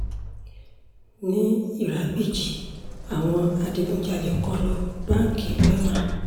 ní ìràgbìjì àwọn adigunjalè kọlu báńkì wẹ́mà